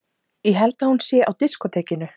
Ég held að hún sé á diskótekinu.